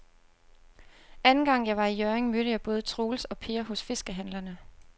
Anden gang jeg var i Hjørring, mødte jeg både Troels og Per hos fiskehandlerne.